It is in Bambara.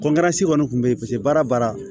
kɔni kun be yen paseke baara baara